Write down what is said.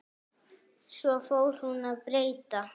Svo fór hún að breyta.